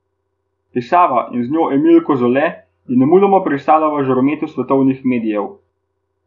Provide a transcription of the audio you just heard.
Pisava, in z njo Emil Kozole, je nemudoma pristala v žarometu svetovnih medijev.